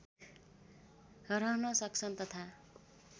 रहन सक्छन् तथा